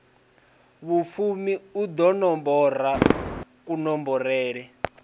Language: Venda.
vhufumi u ḓo nomborwa kunomborele